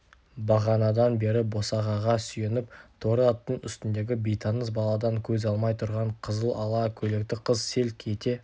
бағанадан бері босағаға сүйеніп торы аттың үстіндегі бейтаныс баладан көз алмай тұрған қызыл ала көйлекті қыз селк ете